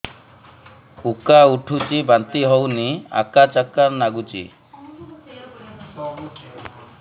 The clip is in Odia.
ଉକା ଉଠୁଚି ବାନ୍ତି ହଉନି ଆକାଚାକା ନାଗୁଚି